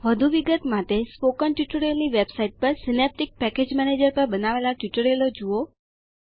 વધુ વિગત માટે સ્પોકન ટ્યુટોરીયલની વેબસાઈટ પર સીનેપ્ટીક પેકેજ મેનેજર પર બનાવેલા ટ્યુટોરીયલો જુઓ